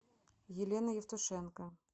елена евтушенко